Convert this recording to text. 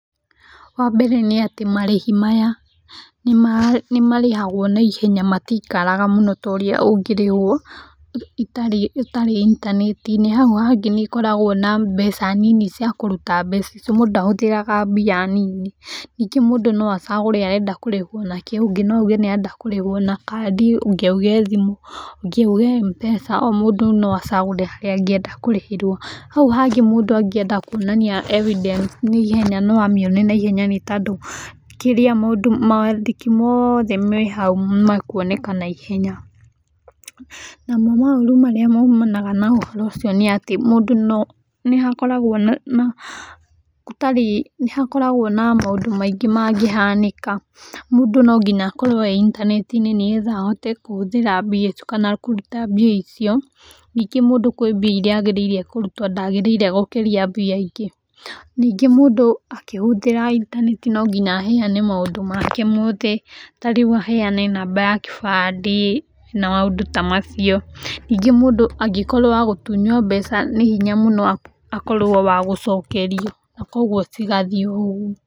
Wambere nĩ atĩ marĩhi maya, nĩmarĩhagwo naihenya matikaraga mũno ta ũrĩa ũngĩri ũũ ũtarĩ intanetinĩ ,haũ hangĩ nĩ koragwo na mbeca nini cia kũruta mbeca icu mũndũ ndahũthĩraga mbia nini ningĩ mũndũ noacagũre ũrenda kũrĩhwa na kĩ, ũngĩ noauge arenda kúũĩhwa na kandi, ũngĩ auge thimũ, ũngĩ auge Mpesa, omũndũ noacagũre harĩa anngĩenda kũrĩhĩrwa. Haũ hangĩ mũndũ angĩenda kwonania evidence nĩ ihenya no amĩone na ĩhenya tondũ kĩrĩa mũndũ, mawandĩki moothe me haũ nĩmewoneka na ihenya .Namo maũrũ marĩa maumanaga na ũhoro ũcio nĩ atĩ, nĩ hakoragwo na maũndũ maingĩ mangĩhanĩka, mũndũ nonginya akorwe eintanetinĩ nĩgetha ahote kũhũthĩra mbia icu kana kũruta mbia icio ningĩ mũndũ kwĩ mbia iria agĩrĩrire kũruta ndagĩrĩire gũkĩria mbia ingĩ ,ningĩ mũndũ akĩhũthĩra intaneti nonginya aheane maũndũ make mothe tarĩũ aheana namba ya kibande na maũndũ ta macio, ningĩ mũndũ angĩkorwo wa gũtunywo mbeca nĩ hinya mũno akorwo wa gũcokerio, kwoguo cigathii oũgu.